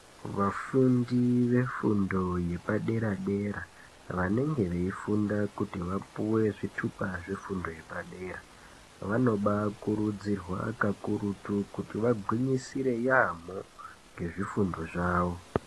Vafundi vefundo yepadera dera Vanenge veifunda kuti vapuwe zvitupa zvefundo yepadera vanobakurudzirwa kakurutu kuti vagwinyisire yambo ngezvifundo zvavo.